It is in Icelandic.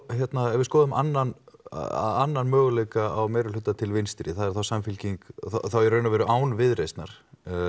ef við skoðum annan annan möguleika á meirihluta til vinstri það er þá Samfylking í raun og veru án Viðreisnar